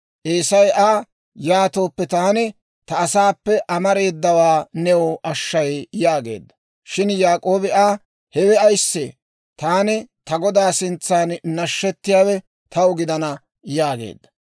Eesay Aa, «Yaatooppe taani ta asaappe amareedawaa new ashshay» yaageedda. Shin Yaak'oobi Aa, «Hewe ayissee? Taani ta godaa sintsaan nashshettiyaawe taw gidana» yaageedda.